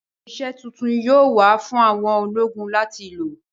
Irinṣẹ́ tuntun yóò wà fún àwọn ológun láti lò